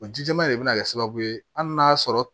O ji jɛman de bɛ na kɛ sababu ye hali n'a y'a sɔrɔ